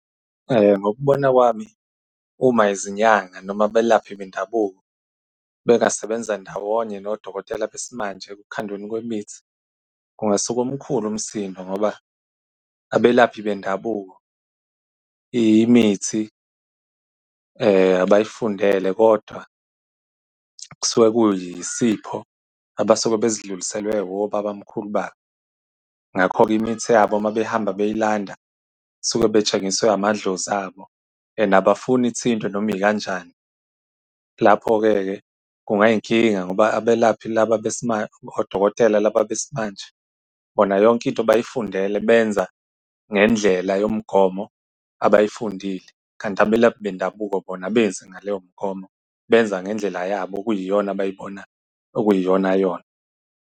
Ngokubona kwami, uma izinyanga noma abelaphi bendabuko bengasebenza ndawonye nodokotela besimanje ekukhandweni kwemithi, kungasuka omkhulu umsindo. Ngoba abelaphi bendabuko imithi abay'fundele, kodwa kusuke kuyisipho, abasuke bezidluliselwe obabamkhulu babo. Ngakho-ke imithi yabo uma behamba beyilanda, suke betshengisiwe amadlozi abo. And abafuni ithintwe noma ikanjani. Lapho-ke-ke kungayi inkinga ngoba abelaphi laba odokotela, laba besimanje bona yonke into bayifundela benza ngendlela yomgomo abayifundile, kanti abelaphi bendabuko bona abenzi ngaleyo mgomo, benza ngendlela yabo okuyiyona abayibonayo okuyiyona-yona.